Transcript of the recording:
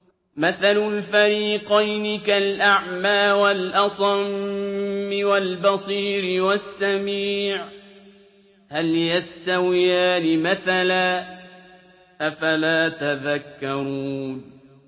۞ مَثَلُ الْفَرِيقَيْنِ كَالْأَعْمَىٰ وَالْأَصَمِّ وَالْبَصِيرِ وَالسَّمِيعِ ۚ هَلْ يَسْتَوِيَانِ مَثَلًا ۚ أَفَلَا تَذَكَّرُونَ